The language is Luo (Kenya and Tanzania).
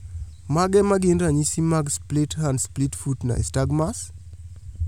Mage magin ranyisi mag Split hand split foot nystagmus?